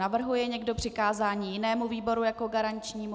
Navrhuje někdo přikázání jinému výboru jako garančnímu?